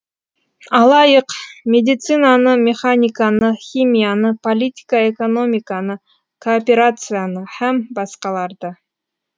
алайық медицинаны механиканы химияны политика эканомиканы кооперацияны һәм басқаларды